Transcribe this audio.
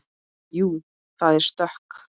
Jú, það er stökk.